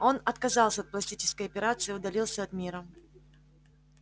он отказался от пластической операции и удалился от мира